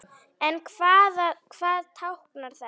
En hvað táknar þetta?